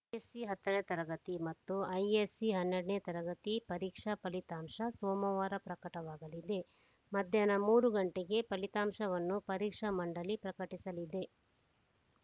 SE ಹತ್ತನೇ ತರಗತಿ ಮತ್ತು ಐಎಸ್‌ಸಿ ಹನ್ನೆರಡನೇ ತರಗತಿ ಪರೀಕ್ಷಾ ಫಲಿತಾಂಶ ಸೋಮವಾರ ಪ್ರಕಟವಾಗಲಿದೆ ಮಧ್ಯಾಹ್ನ ಮೂರು ಗಂಟೆಗೆ ಫಲಿತಾಂಶವನ್ನು ಪರೀಕ್ಷಾ ಮಂಡಳಿ ಪ್ರಕಟಿಸಲಿದೆ